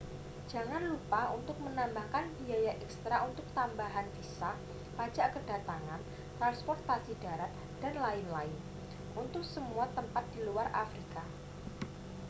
jangan lupa untuk menambahkan biaya ekstra untuk tambahan visa pajak kedatangan transportasi darat dll untuk semua tempat di luar afrika